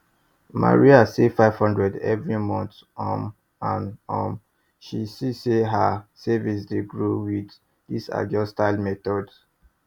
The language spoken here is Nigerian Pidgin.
maria save five hundred every month um and um she see say her savings dey grow with this ajo style method